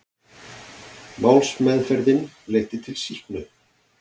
Málsmeðferðin leiddi til sýknu